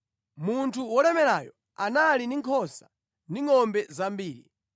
Munthu wolemerayo anali ndi nkhosa ndi ngʼombe zambiri,